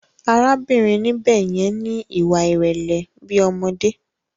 Arábìnrin níbè yẹn ni ìwà ìrẹlẹ bi ọmọdé.